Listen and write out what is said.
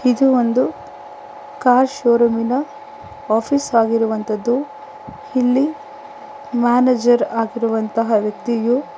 ಇದು ಒಂದು ಕಾರ್ ಶೋರೂಮಿನ ಆಫೀಸ್ ಆಗಿರುವಂತದ್ದು ಇಲ್ಲಿ ಮ್ಯಾನೇಜರ್ ಆಗಿರುವಂತಹ ವ್ಯಕ್ತಿಯು--